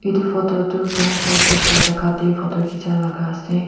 etu photo tu game Side ekta jaga teh photo khicha laga ase.